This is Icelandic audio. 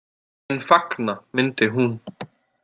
En fagna myndi hún.